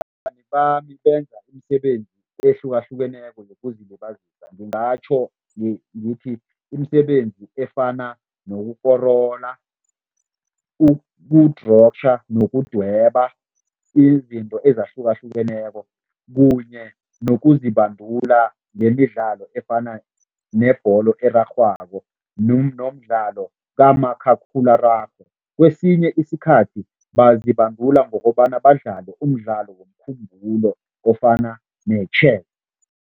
Bami benza imisebenzi ehlukahlukeneko yokuzilibazisa. Ngingatjho ngithi imisebenzi efana nokukorola, ukudrotjha nokudweba, izinto ezahlukahlukeneko kunye nokuzibandula ngemidlalo efana nebholo erarhwako nomdlalo kamakhakhulararhwe. Kwesinye isikhathi, bazibandula ngokobana badlale umdlalo womkhumbulo ofana ne-chess.